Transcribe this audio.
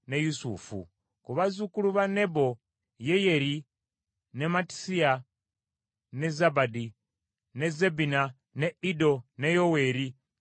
Ku bazzukulu ba Nebo: Yeyeri, ne Mattisiya, ne Zabadi, ne Zebina, ne Iddo, ne Yoweeri ne Benaya.